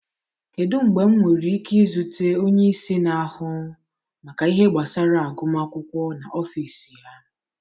Kedu mgbe m nwere ike izute onye isi na-ahụ maka ihe gbasara agụm akwụkwọ n'ọfịs ya?